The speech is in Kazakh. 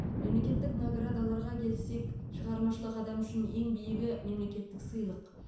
мемлекеттік наградаларға келсек шығармашылық адамы үшін ең биігі мемлекеттік сыйлық